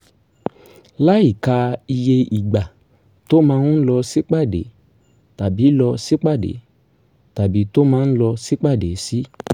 láìka iye ìgbà tó máa ń lọ sípàdé tàbí lọ sípàdé tàbí tó máa ń lọ sípàdé sí